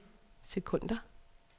sekunder